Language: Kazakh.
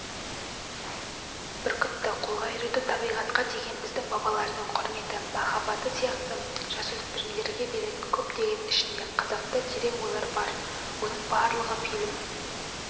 бүркітті қолға үйрету табиғатқа деген біздің бабалардың құрметі махаббаты сияқты жасөспірімдерге беретін көптеген ішінде қызықты терең ойлар бар оның барлығы фильм